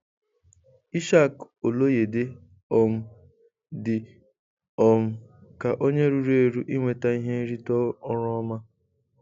Ishaq Oloyede um dị um ka onye ruru eru inweta ihe nrite ọrụ ọma.